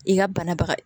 I ka banabaga